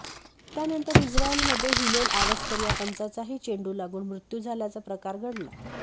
त्यानंतर इस्रयलमध्ये हिलेल आवस्कर या पंचाचाही चेंडू लागून मृत्यू झाल्याचा प्रकार घडला